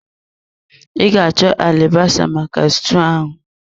I ga achọ alibasa maka stuu ahụ.